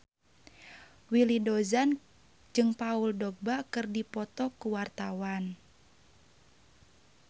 Willy Dozan jeung Paul Dogba keur dipoto ku wartawan